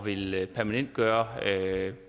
ville permanentgøre